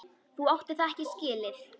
Þú áttir það ekki skilið.